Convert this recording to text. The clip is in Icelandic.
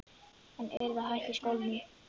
Hann yrði að hætta í skólanum!